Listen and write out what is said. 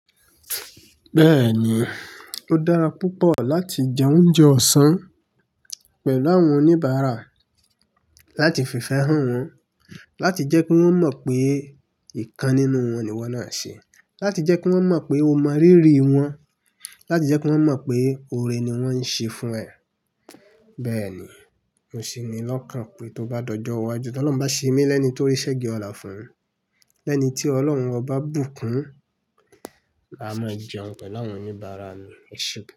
Bẹ́ẹ̀ni, ó dára púpọ̀ láti jẹ oúnjẹ ọ̀sán pẹ̀lú àwọn oníbàárà láti fi fẹ́hàn wọ́n, láti jẹ́ kí wọ́n mọ̀ pé ìkan nínú wọn ni ìwọ náà ṣe, láti jẹ́ kí wọ́n mọ̀ pé o mọ rírì wọ́n, láti jẹ́ kí wọ́n mọ̀ pé oore ni wọ́n ń ṣe fún ẹ. Bẹ́ẹ̀ni, mò sí ni lọ́kàn pé tó bá dọjọ wá ju tí Ọlọ́run bá ṣe mí lẹ́ní torí ṣẹ́gi ọlá fún un. Lẹ́ẹ́nì tí Ọlọ́run ọba bù kún, màá jẹun pẹ̀lú àwọn oníbàárà mi, eṣe.